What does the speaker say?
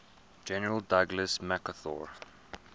general douglas macarthur